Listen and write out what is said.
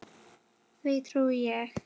Því trúi ég.